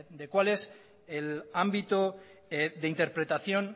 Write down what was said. de cuál es el ámbito de interpretación